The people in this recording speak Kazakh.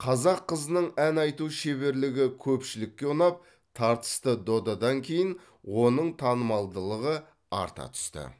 қазақ қызының ән айту шеберлігі көпшілікке ұнап тартысты додадан кейін оның танымалдылығы арта түсті